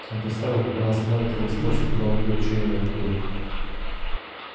он представил как она остановит его и спросит куда он идёт чей он и откуда